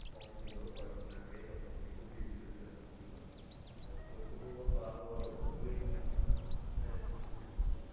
কম ছিল কয়েকদিন আগে যেমন একুশ degree celsius ও ছিল. এবং শৈত্য প্রবাহ আরো দু-একদিন